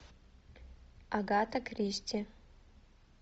агата кристи